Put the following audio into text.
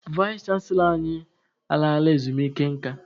Vais chanselọ anyị a laala ezumike nka.